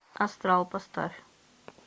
астрал поставь